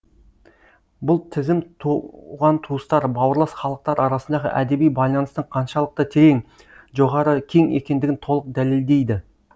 бұл тізім туған туыстар бауырлас халықтар арасындағы әдеби байланыстың қаншалықты терең жоғары кең екендігін толық дәлелдейді